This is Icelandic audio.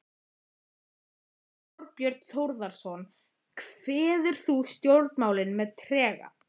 Þorbjörn Þórðarson: Kveður þú stjórnmálin með trega?